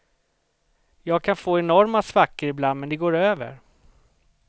Jag kan få enorma svackor ibland, men det går över.